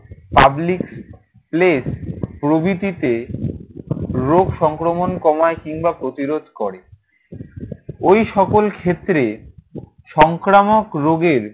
public place প্রভৃতিতে রোগ সংক্রমণ কমায় কিংবা প্রতিরোধ করে। ঐসকল ক্ষেত্রে সংক্রামক রোগের